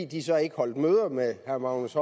de så ikke holdt møder med herre magnus